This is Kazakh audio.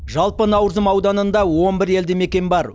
жалпы наурызым ауданында он бір елді мекен бар